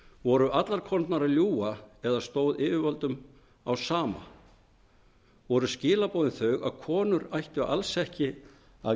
voru allar konurnar að ljúga eða stóð yfirvöldum á sama voru skilaboðin þau að konur ættu alls ekki að